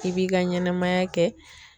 I b'i ka ɲɛnɛmaya kɛ.